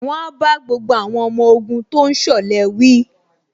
Wọ́n á bá gbogbo àwọn ọmọ ogun tó ń ṣọ̀lẹ wí